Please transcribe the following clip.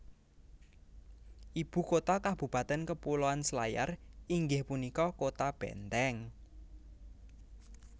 Ibu kota kabupatèn Kepulauan Selayar inggih punika Kota Benteng